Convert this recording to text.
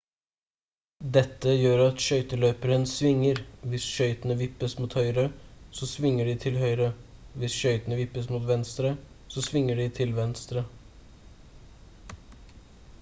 dette gjør at skøyteløperen svinger hvis skøytene vippes mot høyre så svinger de til høyre hvis skøytene vippes mot venstre så svinger de til venstre